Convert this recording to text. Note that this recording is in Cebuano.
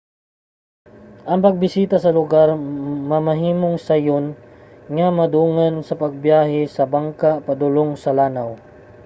ang pagbisita sa lugar mamahimong sayon nga madungan sa pagbiyahe sa bangka padulong sa lanaw